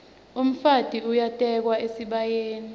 umfati uyatekwa esibayeni